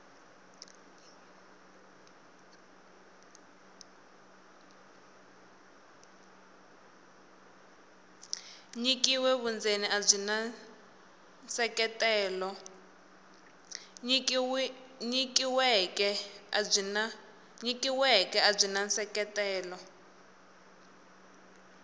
nyikiweke a byi na nseketelo